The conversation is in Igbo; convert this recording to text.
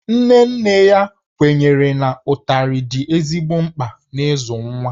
Nne nne ya kwenyere na ụtarị dị ezigbo mkpa n'ịzụ nwa